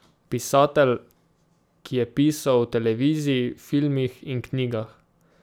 Pisatelj, ki je pisal o televiziji, filmih in knjigah.